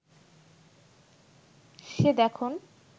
সে দেখন